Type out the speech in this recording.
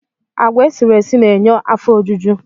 Agwa esiri esi na-enye afọ ojuju